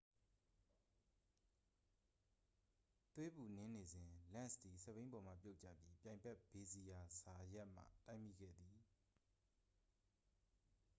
သွေးပူနင်းနေစဉ် လန့်စ်သည် စက်ဘီးပေါ်မှပြုတ်ကျပြီး ပြိုင်ဘက် ဇေဗီယာ ဇာယတ်မှ တိုက်မိခဲ့သည်